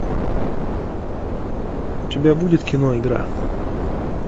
у тебя будет кино игра